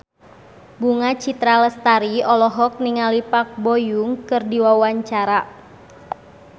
Bunga Citra Lestari olohok ningali Park Bo Yung keur diwawancara